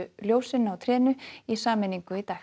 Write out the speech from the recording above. ljósin á trénu í sameiningu í dag